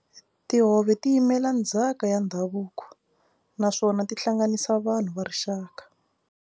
Tihove ti yimela ndzhaka ya ndhavuko naswona ti hlanganisa vanhu va rixaka.